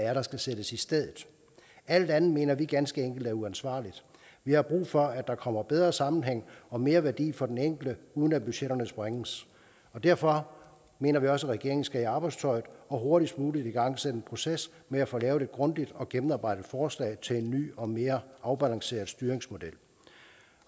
er der skal sættes i stedet alt andet mener vi ganske enkelt er uansvarligt vi har brug for at der kommer bedre sammenhæng og mere værdi for den enkelte uden at budgetterne sprænges derfor mener vi også at regeringen skal i arbejdstøjet og hurtigst muligt igangsætte en proces med at få lavet et grundigt og gennemarbejdet forslag til en ny og mere afbalanceret styringsmodel